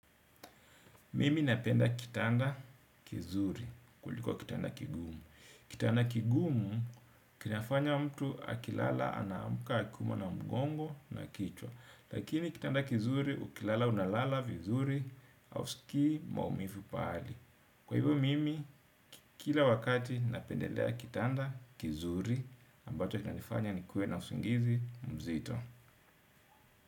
Mimi napenda kitanda kizuri kuliko kitanda kigumu. Kitanda kigumu kinafanya mtu akilala anaamka akiumwa na mgongo na kichwa. Lakini kitanda kizuri ukilala unalala vizuri hausiki maumivu pahali. Kwa hivyo mimi kila wakati napendelea kitanda kizuri ambacho kinanifanya ni kue na usingizi mzito.